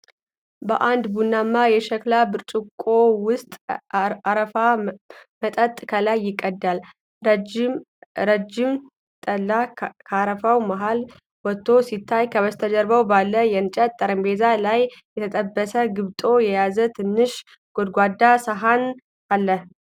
በአንድ ቡናማ የሸክላ ብርጭቆ ውስጥ አረፋማ መጠጥ ከላይ ይቀዳል። ረጅም ጠላ ከአረፋው መሃል ወጥቶ ሲታይ፤ ከበስተጀርባው ባለው የእንጨት ጠረጴዛ ላይ የተጠበሰ ግብጦ የያዘ ትንሽ ጎድጓዳ ሳህን አለ።